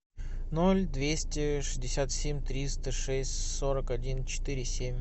ноль двести шестьдесят семь триста шесть сорок один четыре семь